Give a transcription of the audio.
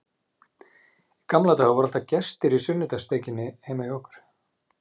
Í gamla daga voru alltaf gestir í sunnudagssteikinni heima hjá okkur.